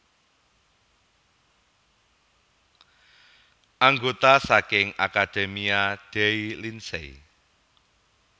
Anggota saking Accademia dei Lincei